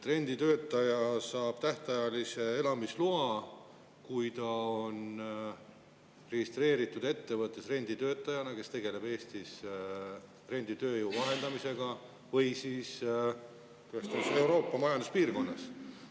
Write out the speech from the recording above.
Renditöötaja saab tähtajalise elamisloa, kui ta on registreeritud renditöötajana ettevõttes, kes tegeleb renditööjõu vahendamisega Eestis või siis Euroopa Majanduspiirkonnas.